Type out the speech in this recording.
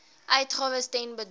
uitgawes ten bedrae